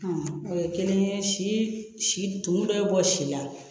o ye kelen ye si si tun dɔ ye bɔ si la